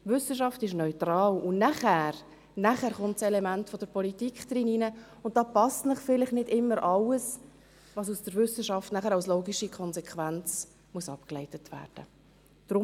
Wissenschaft ist neutral, und kommt das Element der Politik hinein, und da passt Ihnen vielleicht nicht immer alles, was aus der Wissenschaft nachher als logische Konsequenz abgeleitet werden muss.